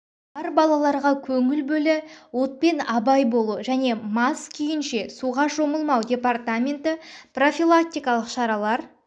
бар бабаларға көңіл бөлі отпен абай болу және мас күйінші суға шомылмау департаменті профилактикалық шаралар